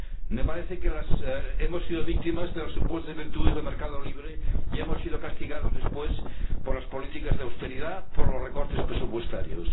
Me parece que hemos sido víctimas de las supuestas virtudes del mercado libre y hemos sido castigados después por las políticas de austeridad, por los recortes presupuestarios.